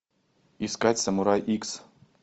искать самурай икс